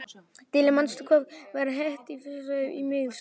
Tíalilja, manstu hvað verslunin hét sem við fórum í á miðvikudaginn?